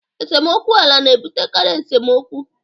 esemokwu ala na-ebutekarị esemokwu